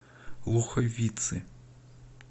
луховицы